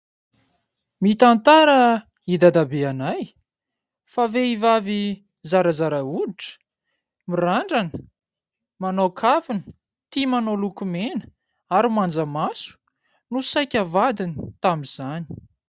Mitantara i dadabe anay fa vehivavy zarazara hoditra, mirandrana, manao kavina, tia manao lokomena ary manja maso no saika vadiny tamin'izany.